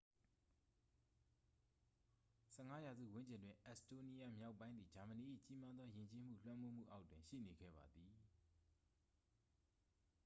15 ရာစုဝန်းကျင်တွင် အက်စ်တိုးနီးယား မြောက်ပိုင်းသည် ဂျာမနီ၏ ကြီးမားသော ယဉ်ကျေးမှု လွှမ်းမိုးမှုအောက်တွင် ရှိနေခဲ့ပါသည်